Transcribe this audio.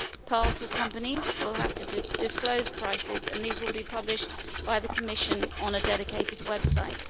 Parcel companies will have to disclose prices ,and these will be published by the Commission on a dedicated website.